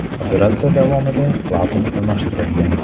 Operatsiya davomida klapan almashtirilgan.